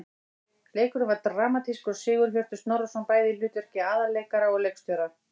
Leikurinn var dramatískur og Sigurhjörtur Snorrason bæði í hlutverki aðalleikara og leikstjóra.